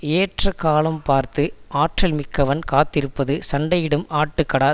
ஏற்ற காலம் பார்த்து ஆற்றல் மிக்கவன் காத்திருப்பது சண்டையிடும் ஆட்டுக்கடா